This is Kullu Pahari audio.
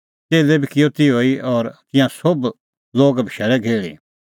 च़ेल्लै बी किअ तिहअ ई और तिंयां सोभ लोग बशैल़ै घेहल़ी